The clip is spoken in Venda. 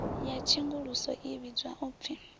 ya tshenguluso i vhidzwa upfi